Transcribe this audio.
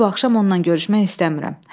Mən bu axşam ondan görüşmək istəmirəm.